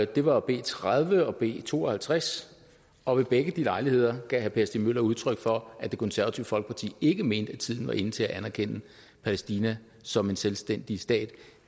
det var b tredive og b to og halvtreds og ved begge lejligheder gav herre per stig møller udtryk for at det konservative folkeparti ikke mente at tiden var inde til at anerkende palæstina som en selvstændig stat